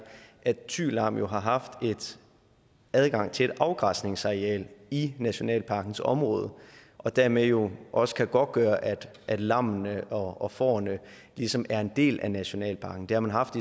at thy lam jo har haft adgang til et afgræsningsareal i nationalparkens område og dermed jo også kan godtgøre at lammene og fårene ligesom er en del af nationalparken det har man haft